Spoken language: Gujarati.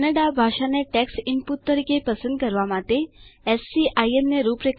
કન્નડા ભાષાને ટેક્સ્ટ ઈનપુટ તરીકે પસંદ કરવા માટે એસસીઆઈએમ ને રૂપરેખાંકિત કરો